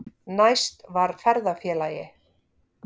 Næst var ferðafélagi